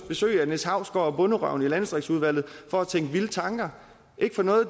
besøg af niels hausgaard og bonderøven i landdistriktsudvalget for at tænke vilde tanker ikke for noget